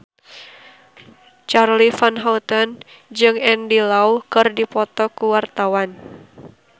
Charly Van Houten jeung Andy Lau keur dipoto ku wartawan